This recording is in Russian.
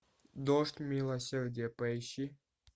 дождь милосердия поищи